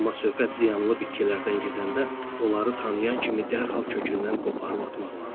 Amma söhbət ziyanlı bitkilərdən gedəndə onları tanıyan kimi dərhal kökündən qoparıb atmaq lazımdır.